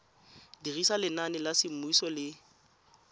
dirisa leina la semmuso le